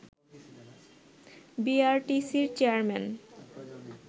বিআরটিসির chairman